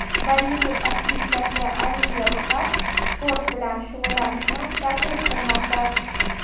Bollivud aktrisasi Aliya Bxatt sport bilan shug‘ullanishni targ‘ib qilmoqda.